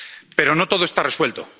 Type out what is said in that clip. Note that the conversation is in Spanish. Pero no todo está resuelto.